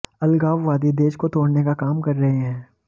अलगाववादी देश को तोड़ने का काम कर रहे है